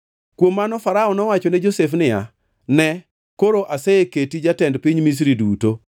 Kuom mano Farao nowacho ne Josef niya, “Ne, koro aseketi jatend piny Misri duto.”